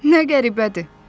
Nə qəribədir!